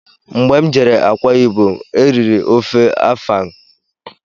Mgbé m jere Akwa ibom, eriri ofe afang